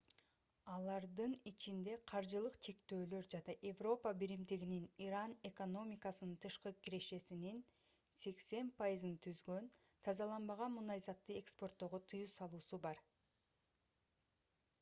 алардын ичинде каржылык чектөөлөр жана европа биримдигинин иран экономикасынын тышкы кирешесинин 80% түзгөн тазаланбаган мунайзатты экспорттоого тыюу салуусу бар